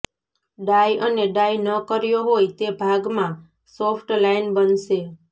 ડાય અને ડાય ન કર્યો હોય એ ભાગમાં સોફ્ટ લાઈન બનશે